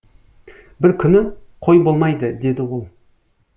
бір күні қой болмайды деді ол